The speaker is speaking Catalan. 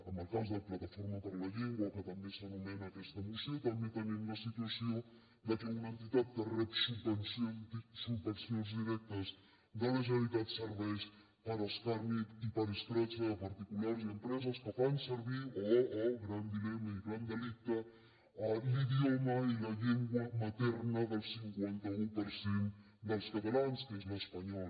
en el cas de plataforma per la llengua que també s’anomena a aquesta moció també tenim la situació que una entitat que rep subvencions directes de la generalitat serveix per a escarni i per a escrache de particulars i empreses que fan servir oh oh gran dilema i gran delicte l’idioma i la llengua materna del cinquanta un per cent dels catalans que és l’espanyol